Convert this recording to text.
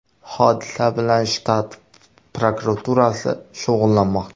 Hodisa bilan shtat prokuraturasi shug‘ullanmoqda.